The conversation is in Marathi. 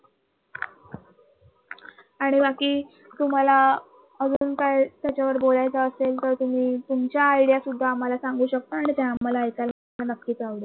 आणि बाकी तुम्हाला अजून काय त्याच्यावर बोलायच असेल तर तुम्ही तुमच्या idea सुद्धा आम्हाला सांगू शकता आणि ते आम्हाला ऐकायला नक्कीच आवडेल.